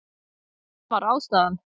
Það var ástæðan.